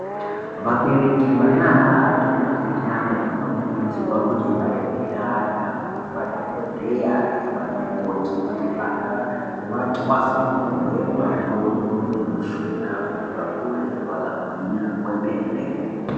Vabereki vanana vati kurei vanokurudzirwe kuti vaende neana kunemadhokhodheya nanamukoti kuti vana vatasamurwe makodo nemushuna kuti vakure vakagwinya kwemene.